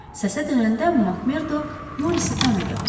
Səsə dönəndə Makmerdo Morisi tanıdı.